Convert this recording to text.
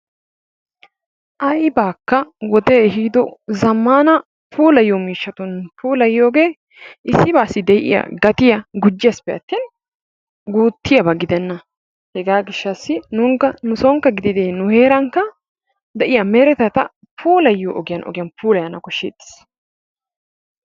Aybaakka wode ehido zammaana puulayiyo miishshatun puulayiyogee issibaassi de"iyaa gatiya gujjeesippe attin guuttiyaba gidenna. Hegaa gishshassi nuunikka nu soonikka gidide nu heerankka de"iyaa meretata puulayiyo ogiyaan ogiyan puulayanawu koshsheettes.